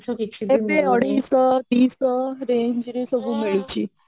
ଏବେ ଅଢେଇଶହ ଦି ଶହ range ରେ ସବୁ ମିଳୁଛି